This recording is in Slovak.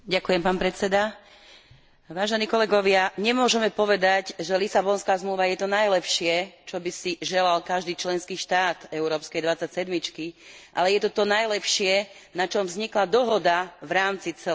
Vážení kolegovia, nemôžeme povedať, že Lisabonská zmluva je to najlepšie, čo by si želal každý členský štát európskej dvadsať sedmičky, ale je to to najlepšie, na čom vznikla dohoda v rámci celej európskej dvadsať sedmičky.